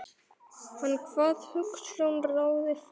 Hann kvað hugsjón ráða ferð.